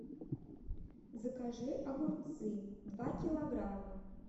закажи огурцы два килограмма